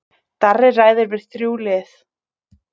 Darri ræðir við þrjú lið